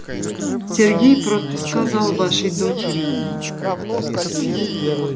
сергей просто сказал вашей дочери